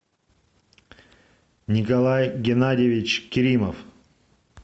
николай геннадьевич керимов